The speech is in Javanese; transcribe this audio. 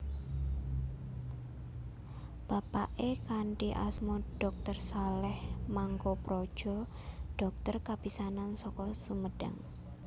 Bapaké kanthi asma dr Saleh Mangkoepradja dhokter kapisanan saka Sumedang